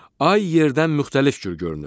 Ay yerdən müxtəlif cür görünür.